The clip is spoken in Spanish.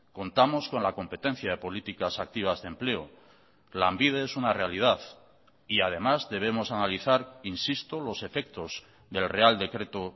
contamos con la competencia de políticas activas de empleo lanbide es una realidad y además debemos analizar insisto los efectos del real decreto